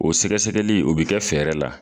O sɛgɛsɛgɛli u bɛ kɛ fɛɛrɛ la.